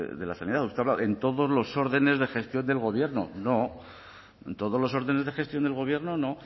de la sanidad usted ha hablado en todos los órdenes de gestión del gobierno no en todos los órdenes de gestión del gobierno no